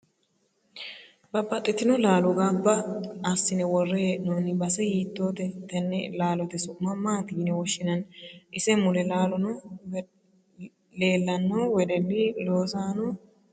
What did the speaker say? Babaxitino laalo ganbba assine worre heenooni base hiitoote tennne laalote su'ma maati yine woshinanni ise mule leelanno wedelli loosano noori maati